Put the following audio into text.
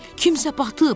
Kimsə batıb.